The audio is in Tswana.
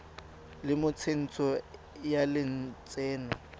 le mo tsentsho ya lotseno